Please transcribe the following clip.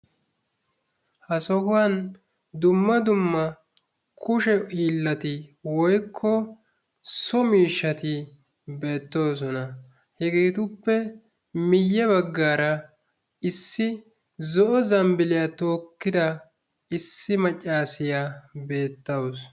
Ha sohuwan duma dumma kushe hiilati woykko so miishshati beettoosoan. hegetuppe guyye baggara zo'o zambbiliyaa took ida issi maccassiya beetawus.